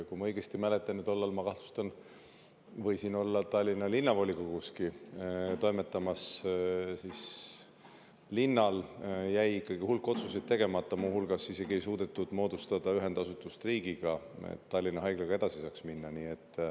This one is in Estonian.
Kui ma õigesti mäletan – ja tollal, ma kahtlustan, võisin olla Tallinna Linnavolikoguski toimetamas –, siis linnal jäi ikkagi hulk otsuseid tegemata, muu hulgas isegi ei suudetud moodustada ühendasutust riigiga, et saaks Tallinna Haiglaga edasi minna.